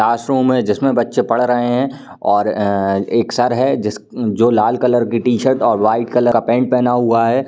Classroom है जिसमें बच्चे पढ़ रहे हैं और अ एक सर है जिस जो लाल कलर की टी-शर्ट और व्हाइट कलर का पैंट पहना हुआ है।